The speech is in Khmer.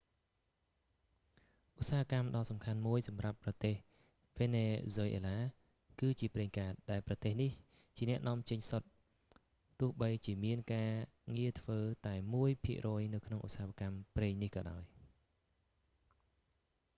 ឧស្សាហកម្មសំខាន់មួយសម្រាប់ប្រទេសវេណេហ្ស៊ុយអេឡា គឺជាប្រេងកាត ដែលប្រទេសនេះជាអ្នកនាំចេញសុទ្ធ ទោះបីជាមានការងារធ្វើតែមួយភាគរយនៅក្នុងឧស្សាហកម្មប្រេងក៏ដោយ